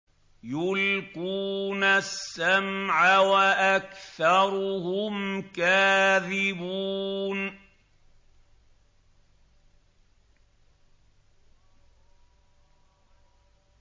يُلْقُونَ السَّمْعَ وَأَكْثَرُهُمْ كَاذِبُونَ